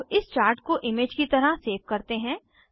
अब इस चार्ट को इमेज की तरह सेव करते हैं